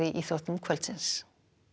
íþróttir kvöldsins